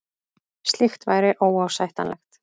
Slíkt væri óásættanlegt